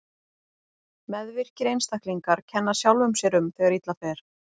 Meðvirkir einstaklingar kenna sjálfum sér um þegar illa fer.